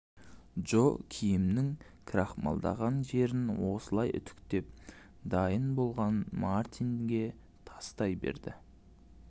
джо киімнің крахмалдаған жерін осылай үтіктеп дайын болғанын мартинге тастай береді